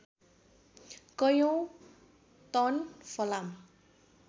कैयौँ टन फलाम